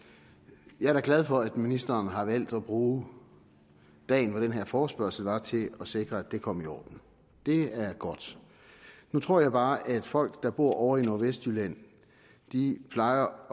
jeg er da glad for at ministeren har valgt at bruge dagen hvor den her forespørgsel er til at sikre at det kom i orden det er godt nu tror jeg bare at folk der bor ovre i nordvestjylland plejer